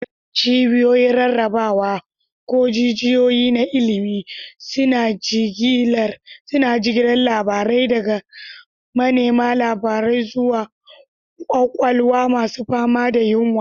Cibiyoyin rarrabawa, ko jijiyoyi na ilimi, suna jigilar labarai daga manema labarai zuwa kwakwalwa masu fama da yunwa.